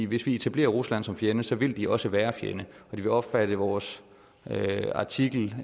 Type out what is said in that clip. hvis vi etablerer rusland som fjende så vil de også være en fjende og de vil opfatte vores artikel